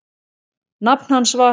Nafn hans var